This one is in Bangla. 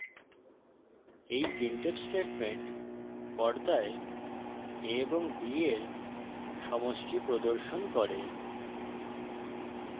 এই printf স্টেটমেন্ট পর্দায় a ও b এর সমষ্টি প্রদর্শন করে